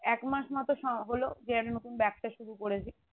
এক মাস মতো সময় হলো যে আমি নতুন ব্যবসা শুরু করেছি